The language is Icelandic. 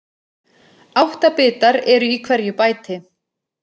Átta bitar eru í hverju bæti.